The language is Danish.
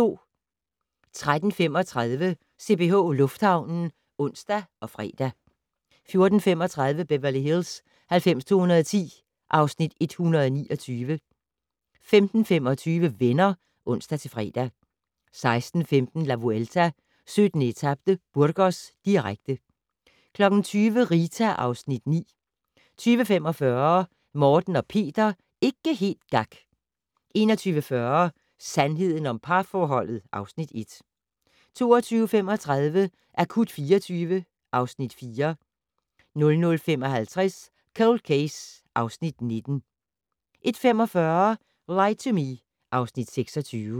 13:35: CPH Lufthavnen (ons og fre) 14:35: Beverly Hills 90210 (Afs. 129) 15:25: Venner (ons-fre) 16:15: La Vuelta: 17. etape - Burgos, direkte 20:00: Rita (Afs. 9) 20:45: Morten og Peter - ikke helt gak! 21:40: Sandheden om parforholdet (Afs. 1) 22:35: Akut 24 (Afs. 4) 00:55: Cold Case (Afs. 19) 01:45: Lie to Me (Afs. 26)